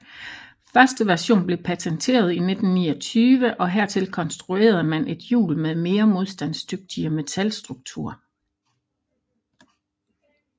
Første version blev patenteret i 1929 og hertil konstruerede man et hjul med mere modstandsdygtig metalstruktur